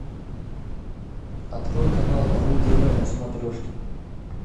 открой канал ру тв на смотрешке